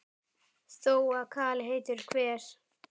Þó að kali heitur hver